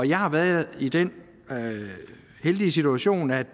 jeg har været i den heldige situation at